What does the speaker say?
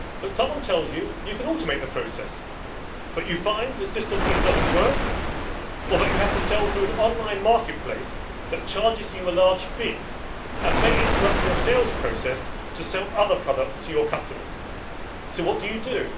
Someone tells you that you can automate the process, but you find the system either does not work, or that you have to sell through an online marketplace that charges you a large fee and may interrupt your sales process to sell other products to your customers. So what do you do?